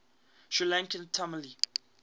sri lankan tamil